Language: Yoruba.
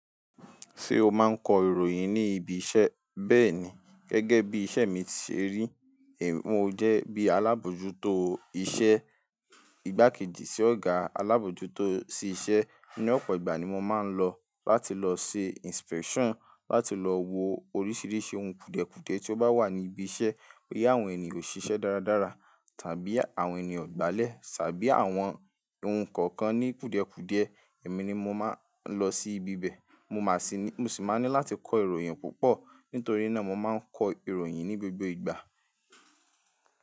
Ṣé o máa ń kọ ìròyìn ní ibi iṣẹ́? Bẹ́ẹ̀ni, gẹ́gẹ́ bí iṣẹ́ mi ṣe rí, mo jẹ́ bí alábòójútó iṣẹ́, ìgbákejì sí Ọ̀gá alábòójútó sí iṣẹ́. Ní ọ̀pọ̀ ìgbà ni mo máa ń lọ láti lọ ṣe inspection, láti lọ wo oríṣiríṣi ohun kùdiẹ̀kùdiẹ̀ tí ó bá wà ní ibi iṣẹ́, boya àwọn ènìyàn ò ṣiṣẹ́ dáradára tàbí àwọn ènìyàn o gbálẹ̀, tàbí àwọn ohun kankan ní kùdiẹ̀kùdiẹ̀, èmi ni mo máa ń lọ sí ibi bẹ́ẹ̀. Mo máa sì ní, mo sì máa ní láti kọ ìròyìn púpọ̀. Nítorí náà mo máa ń kọ ìròyìn ní gbogbo ìgbà.